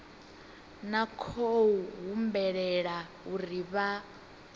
na khou humbulela uri vha